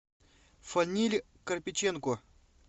фаниль карпиченко